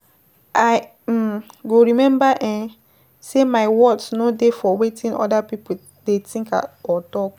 I um go remember um sey my worth no dey for wetin oda pipo dey think or talk.